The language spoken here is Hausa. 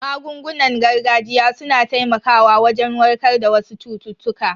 Magungunan gargajiya su na taimakawa wajen warkar da wasu cututtuka.